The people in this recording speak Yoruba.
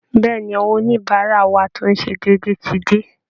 Bẹ́ẹ̀ ni, àwọn oníbàárà wa tó ń ṣe déédéé ti dé